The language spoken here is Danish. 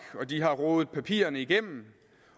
og de har rodet papirerne igennem